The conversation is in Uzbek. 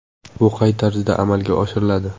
Bu qay tarzda amalga oshiriladi?